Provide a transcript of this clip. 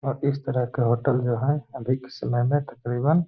और इस तरह के होटल जो हैं अभिक समय में तक़रीबन --